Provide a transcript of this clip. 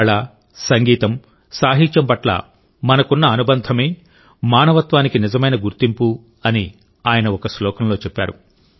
కళ సంగీతం సాహిత్యం పట్ల మనకున్న అనుబంధమే మానవత్వానికి నిజమైన గుర్తింపు అని ఆయన ఒక శ్లోకంలో చెప్పారు